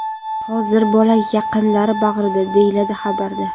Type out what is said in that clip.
Hozir bola yaqinlari bag‘rida”, deyiladi xabarda.